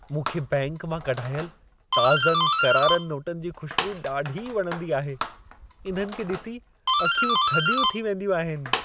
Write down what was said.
मूंखे बैंक मां कढाइल ताज़नि करारनि नोटनि जी खु़श्बू ॾाढी वणंदी आहे। इन्हनि खे ॾिसी अखियूं थधियूं थी वेंदियूं आहिनि।